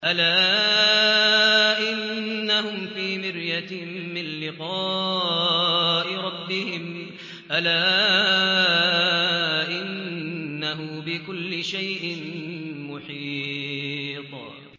أَلَا إِنَّهُمْ فِي مِرْيَةٍ مِّن لِّقَاءِ رَبِّهِمْ ۗ أَلَا إِنَّهُ بِكُلِّ شَيْءٍ مُّحِيطٌ